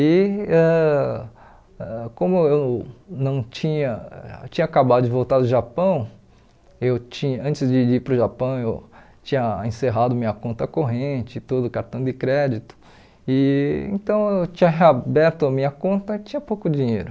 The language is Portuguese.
E ãh como eu não tinha eu tinha acabado de voltar do Japão, eu tinha antes de de ir para o Japão eu tinha encerrado minha conta corrente, tudo cartão de crédito, e então eu tinha reaberto minha conta e tinha pouco dinheiro.